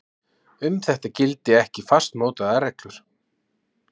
Um þetta gildi ekki fastmótaðar reglur